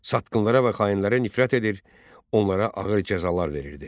Satqınlara və xainlərə nifrət edir, onlara ağır cəzalar verirdi.